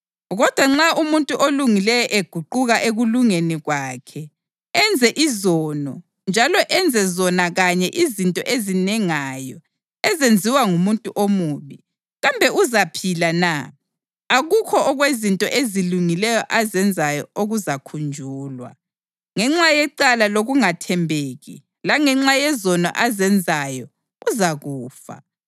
Kodwa nxa umuntu olungileyo eguquka ekulungeni kwakhe enze izono njalo enze zona kanye izinto ezinengayo ezenziwa ngumuntu omubi, kambe uzaphila na? Akukho okwezinto ezilungileyo azenzayo okuzakhunjulwa. Ngenxa yecala lokungathembeki langenxa yezono azenzayo, uzakufa.